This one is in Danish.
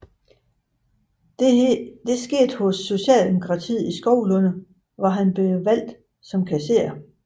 Dette skete hos Socialdemokratiet i Skovlunde hvor han blev valgt som kasserer